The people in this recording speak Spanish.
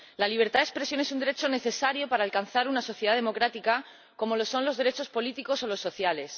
La libertad de expresión es un derecho necesario para alcanzar una sociedad democrática, como lo son los derechos políticos o los sociales.